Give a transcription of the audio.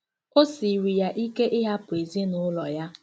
O siiri ya ike ịhapụ ezinụlọ ya.